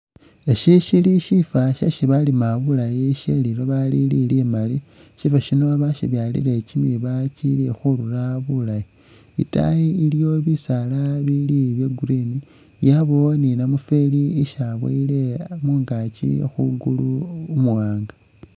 Eshi shili shifo shesi balima bulaayi sheliloba Lili limaali shifo shino bashibyalile kyimiba kyili khurura bulaayi itaayi iliyo bisaala bili bya'green yabawo ni namufweli isi aboyile mungaakyi mwingulu umuwanga